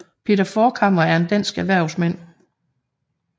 Peter Forchhammer er en dansk erhvervsmand